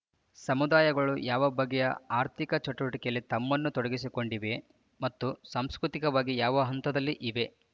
ಸಮುದಾಯಗಳು ಯಾವ ಬಗೆಯ ಆರ್ಥಿಕ ಚಟುವಟಿಕೆಯಲ್ಲಿ ತಮ್ಮನ್ನು ತೊಡಗಿಸಿಕೊಂಡಿವೆ ಮತ್ತು ಸಾಂಸ್ಕೃತಿಕವಾಗಿ ಯಾವ ಹಂತದಲ್ಲಿ ಇವೆ